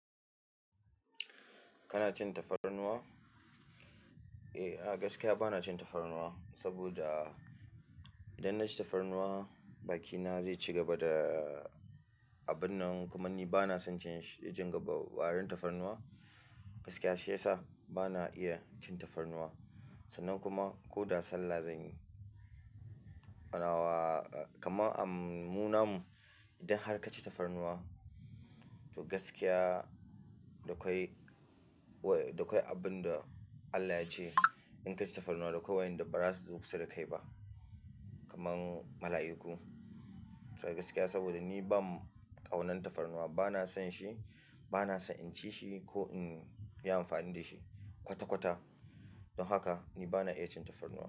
Kana cin tafarnuwa? Eh, a gaskiya ba na cin tafarnuwa saboda idan na ci tafarnuwa bakina zai ci gaba da abun nan. Kuma ni ba na son cin shi warin tafarnuwa. Gaskiya shi yasa ba na iya cin tafarnuwa. Sannan kuma koda sallah zanyi nawa-- kamar muna mu idan har ka ci tafarnuwa to gaskiya da ƙwai, da ƙwai abin da Allah ya ce in ka ci tafarnuwa da kowa inda bara duk sai ka yi ba, kamar mala'iku. Sai gaskiya saboda ni ban ƙaunar tafarnuwa, ba na son shi, ba na so in ci shi ko in yi amfani da shi kwata-kwata. Don haka ni ba na iya cin tafarnuwa.